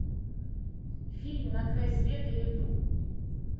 фильм на край света ютуб